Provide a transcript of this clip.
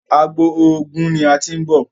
àgbò oògùn ní a tin nbọ